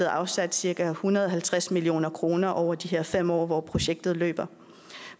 afsat cirka en hundrede og halvtreds million kroner over de her fem år hvor projektet løber